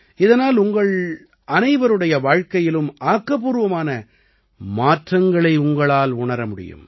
இதனால் உங்கள் அனைவருடைய வாழ்க்கையிலும் ஆக்கப்பூர்வமான மாற்றங்களை உங்களால் உணர முடியும்